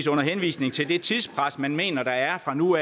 under henvisning til det tidspres man mener der er fra nu